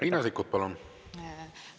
Riina Sikkut, palun!